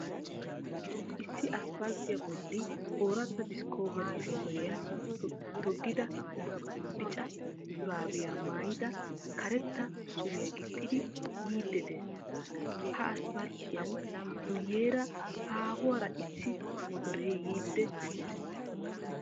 Issi aspalttiya bolli ooratta discobere motoriya toggida bicca shuraabiya maayidi karetta suriya gixxidi yiidi dees. Ha aspalttiyan guyeera haahuwaara issi motore yiidi dees.